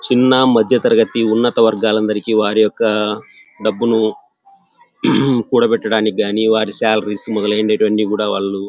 చిన్న మధ్యతరగతి ఉన్నత వర్గవాలకి అందరి వారికొక డబ్బులు కూడా బెట్టడానికి గని వారి సాలరీస్ మొదలైనాటివి అన్నీకూడా--